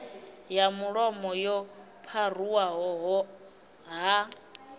ya mulomo yo pharuwaho ha